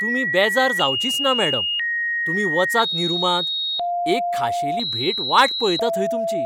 तुमी बेजार जावचींच ना, मॅडम, तुमी वचात न्ही रुमांत, एक खाशेली भेट वाट पळयता थंय तुमची.